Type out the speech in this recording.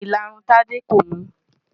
Ìlarun Tádé kò mú.